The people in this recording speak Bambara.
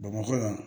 Bamakɔ yan